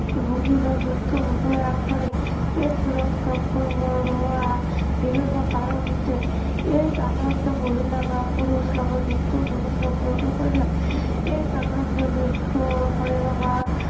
ৰোগীজন মৃত্য়ুমুখলৈ আগবাঢ়ে। AIDS ৰোগ সংক্ৰমণ হোৱাৰ বিভিন্ন কাৰণ হৈছে AIDS আক্ৰান্ত মহিলা বা পুৰুষ লগত মুক্ত যৌন সম্পৰ্ক কৰিলে। AIDS আক্ৰান্ত ব্য়ক্তিৰ শৰীৰৰ বা